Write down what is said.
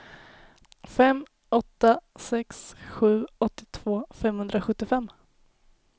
fem åtta sex sju åttiotvå femhundrasjuttiofem